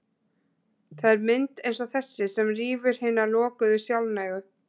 Það er mynd eins og þessi sem rýfur hina lokuðu, sjálfnægu